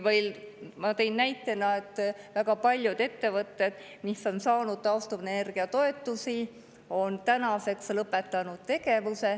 Ma tõin näite, et väga paljud ettevõtted, mis on saanud taastuvenergia toetusi, on tänaseks tegevuse lõpetanud.